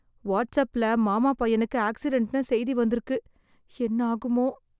Watts அப்ல மாமா பையனுக்கு ஆக்சிடென்ட்ன்னு செய்தி வந்திருக்கு. என்ன ஆகுமோ?